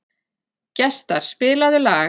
Gestar, spilaðu lag.